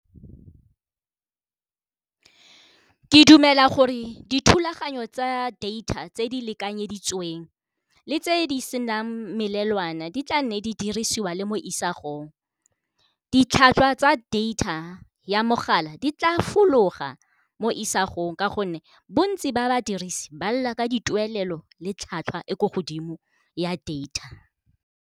Ke dumela gore dithulaganyo tsa data tse di lekanyeditsweng le tse di senang melelwane di tla nne di dirisiwa le mo isagong, ditlhwatlhwa tsa data ya mogala di tla fologa mo isagong ka gonne bontsi ba ba dirisi ba lela ka dituelelo le tlhwatlhwa e ko godimo ya data.